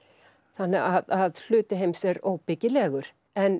þannig að hluti heims er óbyggilegur